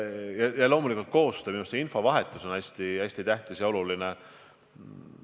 Ja loomulikult koostöö – kogu see infovahetus on hästi tähtis ja oluline.